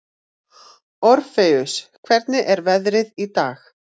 Orfeus, hvernig er veðrið í dag?